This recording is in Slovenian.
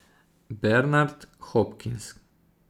Bernard Hopkins.